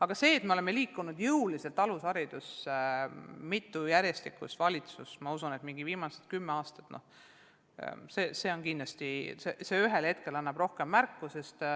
Aga see, et me oleme jõuliselt mitme järjestikuse valitsuse ajal – ma usun, et viimased 10 aasta – liikunud eestikeelse alushariduse poole, kindlasti on ühel hetkel rohkem ilmselge.